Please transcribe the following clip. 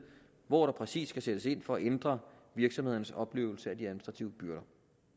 hvor der præcis skal sættes ind for at ændre virksomhedernes oplevelse af de administrative byrder